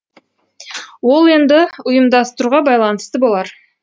ол енді ұйымдастыруға байланысты болар